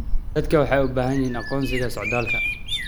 Dadku waxay u baahan yihiin aqoonsiga socdaalka.